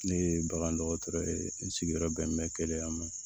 Ne ye bagan dɔgɔtɔrɔ ye n sigiyɔrɔ bɛn bɛ keleya ma